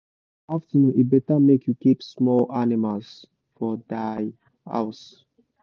for afternoon e better make you keep small animals for dia house